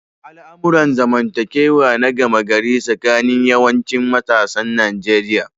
Al'amuran zamantakewa na gama gari tsakanin yawancin matasan Nijeriya.